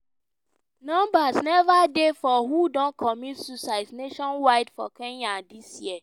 numbers neva dey for who don commit suicides nationwide for kenya dis year.